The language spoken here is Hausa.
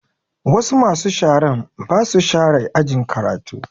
Wasu masu sharan ba su share ajin karatu